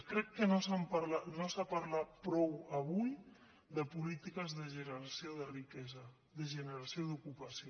crec que no s’ha parlat prou avui de polítiques de generació de riquesa de generació d’ocupació